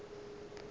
a bego a ka se